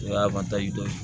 O y'a dɔ ye